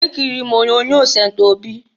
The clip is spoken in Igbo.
Ekiriri m onyoonyo Sent Obi.